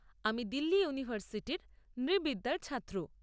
আমি দিল্লি ইউনিভার্সিটির নৃবিদ্যার ছাত্র।